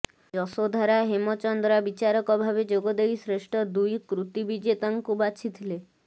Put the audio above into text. ଯଶୋଧାରା ହେମଚନ୍ଦ୍ରା ବିଚାରକ ଭାବେ ଯୋଗଦେଇ ଶ୍ରେଷ୍ଠ ଦୁଇ କୃତୀ ବିଜେତାଙ୍କୁ ବାଛିଥିଲେ